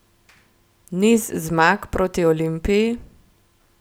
Niz zmag proti Olimpiji?